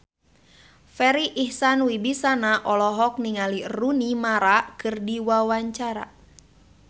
Farri Icksan Wibisana olohok ningali Rooney Mara keur diwawancara